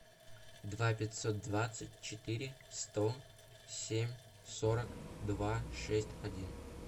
два пятьсот двадцать четыре сто семь сорок два шесть один